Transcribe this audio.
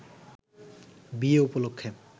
বিয়ে উপলক্ষে